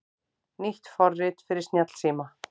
Nýtt forrit fyrir snjallsíma